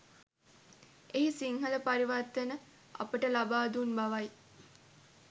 එහි සිංහල පරිවර්තන අපට ලබා දුන් බවයි